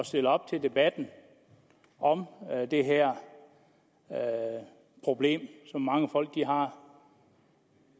stillet op til debatten om det her problem som mange folk har